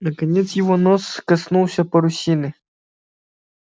наконец его нос коснулся парусины